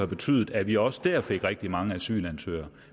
betydet at vi også da fik rigtig mange asylansøgere